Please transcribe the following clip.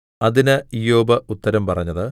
അതിന് ഇയ്യോബ് ഉത്തരം പറഞ്ഞത്